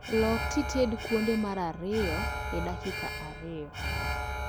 Lok tited kuonde mar ariyo e dakika ariyo